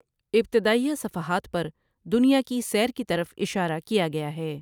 ابتدائیہ صفحات پر دنیا کی سیر کی طرف اشارہ کیا گیا ہے ۔